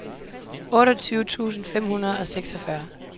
otteogtyve tusind fem hundrede og seksogfyrre